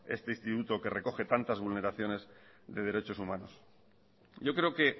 este instituto que recoge tantas vulneraciones de derechos humanos yo creo que